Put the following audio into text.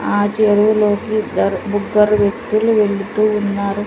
ఆ చెరువులోకి ఇద్దరు ముగ్గురు వ్యక్తులు వెళుతూ వున్నారు.